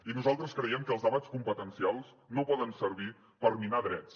i nosaltres creiem que els debats competencials no poden servir per minar drets